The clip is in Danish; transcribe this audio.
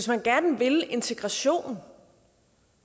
man gerne vil integration